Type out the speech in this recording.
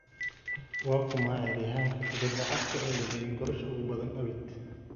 waa kuma cayaaryahanka kubada cagta ee dhaliyay goolasha ugu badan abid?